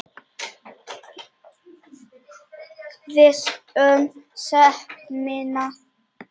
Viss um sekt mína.